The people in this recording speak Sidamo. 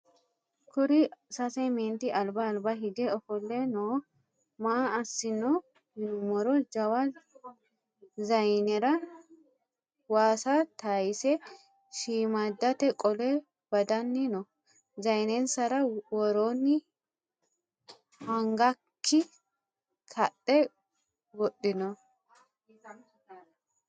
kuuri sase menti alba alba hige ofolle noo. maa asanino yinumoro jawa zayinera wasa tatayise shimadate qoole badanni noo. zayinnansara worrini hagak kaadhe wodhino